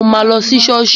Mo ma lọ sí ṣọ́ọ̀ṣì